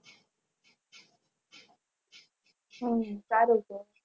હમ સારું તો